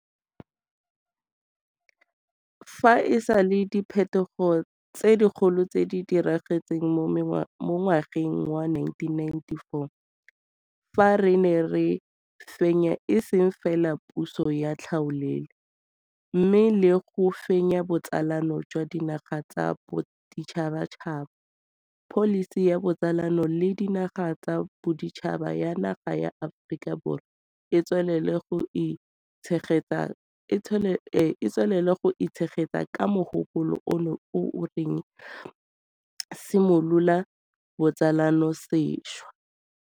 Fa e sale diphetogo tse dikgolo tse di diragetseng mo ngwageng wa 1994 fa re ne re fenya e seng fela puso ya tlhaolele, mme le go fenya botsalano jwa dinaga tsa boditšhabatšhaba, pholisi ya botsalano le dinaga tsa boditšhaba ya naga ya Aforika Borwa e tswelela go itshegetsa ka mogopolo ono yo o reng simolola botsalano sešwa.